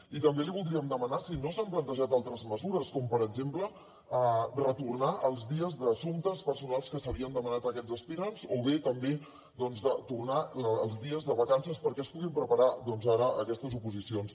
i també li voldríem demanar si no s’han plantejat altres mesures com per exemple retornar els dies d’assumptes personals que s’havien demanat aquests aspirants o bé també tornar els dies de vacances perquè es puguin preparar ara aquestes oposicions